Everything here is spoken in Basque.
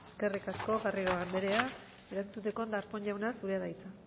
eskerrik asko eskerrik asko garrido anderea erantzuteko darpón jauna zurea da hitza